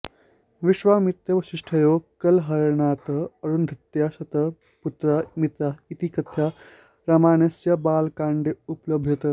विश्वामित्रवसिष्ठयोः कलहकारणतः अरुन्धत्याः शतं पुत्राः मृताः इति कथा रामायणस्य बालकाण्डे उपलभ्यते